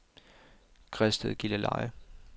Græsted-Gilleleje